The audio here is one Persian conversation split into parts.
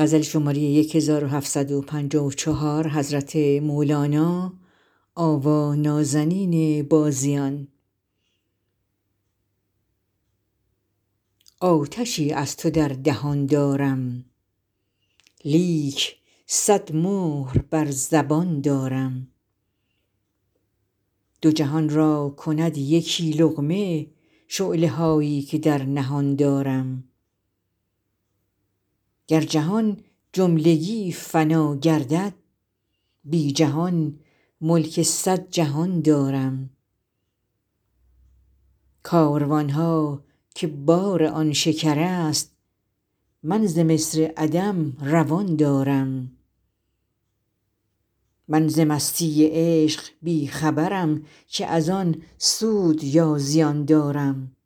آتشی از تو در دهان دارم لیک صد مهر بر زبان دارم دو جهان را کند یکی لقمه شعله هایی که در نهان دارم گر جهان جملگی فنا گردد بی جهان ملک صد جهان دارم کاروان ها که بار آن شکرست من ز مصر عدم روان دارم من ز مستی عشق بی خبرم که از آن سود یا زیان دارم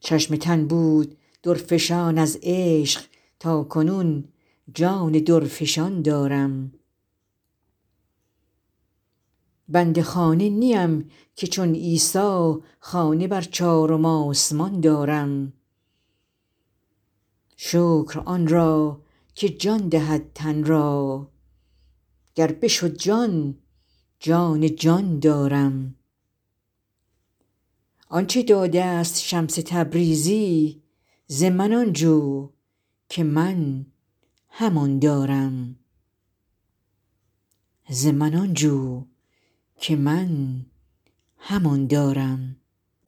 چشم تن بود درفشان از عشق تا کنون جان درفشان دارم بند خانه نیم که چون عیسی خانه بر چارم آسمان دارم شکر آن را که جان دهد تن را گر بشد جان جان جان دارم آنچ داده ست شمس تبریزی ز من آن جو که من همان دارم